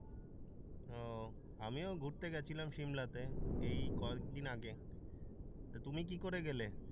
ও আমিও ঘুরতে গেছিলাম সিমলাতে এই কয়েকদিন আগে তা তুমি কি করে গেলে?